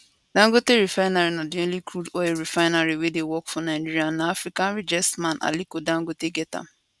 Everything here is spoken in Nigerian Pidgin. dangote refinery na di only crude oil refinery wey dey work for nigeria and na africa richest man aliko dangote get am